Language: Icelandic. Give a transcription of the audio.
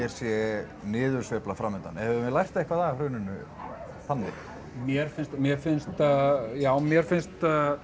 sé niðursveifla fram undan höfum við lært eitthvað af hruninu þannig mér finnst mér finnst já mér finnst